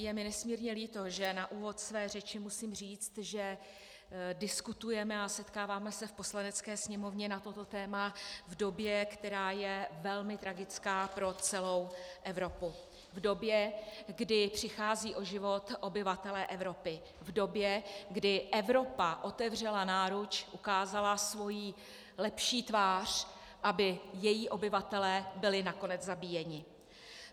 Je mi nesmírně líto, že na úvod své řeči musím říct, že diskutujeme a setkáváme se v Poslanecké sněmovně na toto téma v době, která je velmi tragická pro celou Evropu, v době, kdy přicházejí o život obyvatelé Evropy, v době, kdy Evropa otevřela náruč, ukázala svoji lepší tvář, aby její obyvatelé byli nakonec zabíjeni.